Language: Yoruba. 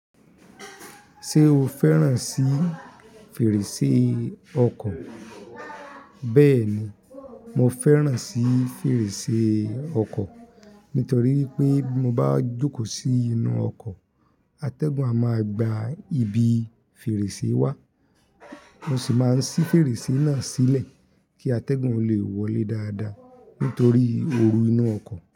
Ṣé o fẹ́ràn sí fèrèsé ọkọ̀? Bẹ́ẹ̀ni, mo fẹ́ràn sí fèrèsé ọkọ̀ nítorí wipé bí mo bá jókòó sí inú ọkọ̀, atẹ́gùn a máa gba ibi fèrèsé wa, mo sì máa ń sí fèrèsé náà sílẹ̀ kí atẹ́gùn ó lè wọlé dáadáa nítorí oru inú ọkọ̀